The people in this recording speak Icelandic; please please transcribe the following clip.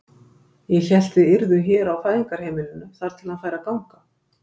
Ég hélt þið yrðuð hér á Fæðingarheimilinu þar til hann færi að ganga.